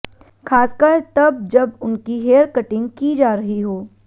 खासकर तब जब उनकी हेयर कटिंग की जा रही हो